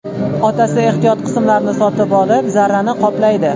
Otasi ehtiyot qismlarini sotib olib, zararni qoplaydi.